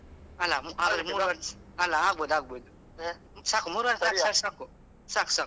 ಅಲಾ. ಅಲಾ ಆಗ್ಬೋದು ಆಗ್ಬೋದು, ಸಾಕು ಮೂರುವರೆ ಸಾಕು ಸಾಕ್ ಸಾಕ್ ಸಾಕು.